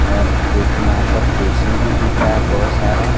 और जो कि यहां पर कुर्सी भी दिख रहा है बहोत सारा।